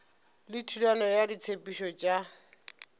le thulano ya ditshepetšo tša